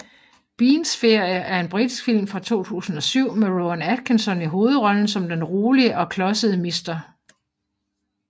Beans Ferie er en britisk film fra 2007 med Rowan Atkinson i hovedrollen som den rolige og klodsede Mr